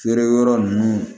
Feere yɔrɔ ninnu